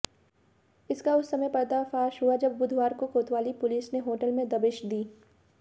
इसका उस समय पर्दाफाश हुआ जब बुधवार को कोतवाली पुलिस ने होटल में दबिश दी